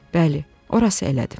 Bəli, orası elədir.